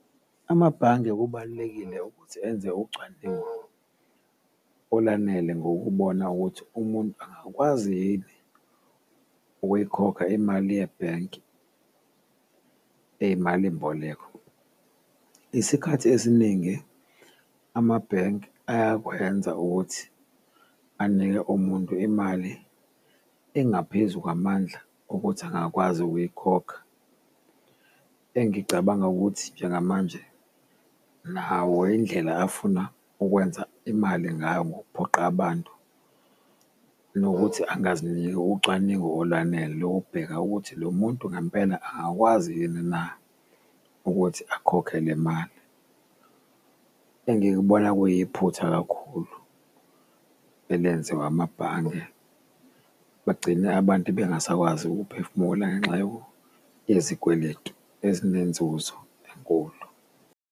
Amabhange kubalulekile ukuthi enze ucwaningo olanele ngokubona ukuthi umuntu angakwazi yini ukuyikhokha imali yebhenki eyimalimboleko. Isikhathi esiningi amabhenki ayakwenza ukuthi anike umuntu imali engaphezu kwamandla ukuthi angakwazi ukuyikhokha, engicabanga ukuthi njengamanje nawo indlela afuna ukwenza imali ngayo ngokuphoqa abantu, nokuthi angaziniki ucwaningo olwanele lokubheka ukuthi lo muntu ngampela angakwazi yini na ukuthi akhokhe le mali. Engikubona kuyiphutha kakhulu elenziwa amabhange, bagcine abantu bengasakwazi ukuphefumula ngenxa yezikweletu ezinenzuzo enkulu.